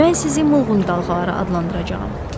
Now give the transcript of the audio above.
Mən sizi mulğun dalğaları adlandıracağam.